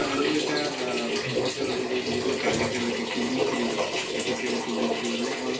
আৰু এটা আহ যিটো target এটা লৈছিল TB free apply TB free মানে all